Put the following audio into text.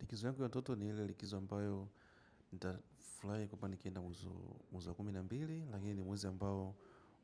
Likizo yangu ya tatu ni ile likizo ambayo nitafurahi kwamba nikienda mwezi wa kumi na mbili lakini ni mwezi ambao